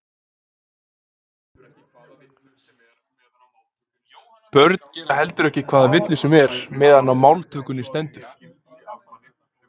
börn gera heldur ekki hvaða villu sem er meðan á máltökunni stendur